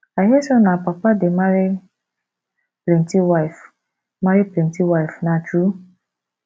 i hear say una people dey marry plenty wife marry plenty wife na true